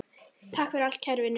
Takk fyrir allt kæri Vinur.